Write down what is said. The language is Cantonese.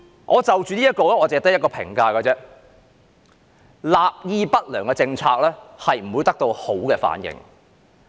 我對這項措施只有一個評價：立意不良的政策不會得到良好反應。